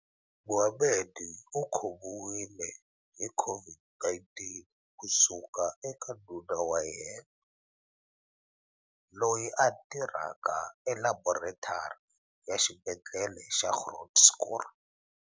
Mohammed u khomiwile hi COVID-19 ku suka eka nuna wa yena, loyi a tirhaka elaboretari ya Xibedhlele xa Groote Schuur.